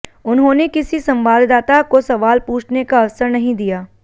उन्होंने किसी संवाददाता को सवाल पूछने का अवसर नहीं दिया